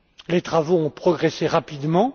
Les travaux ont progressé rapidement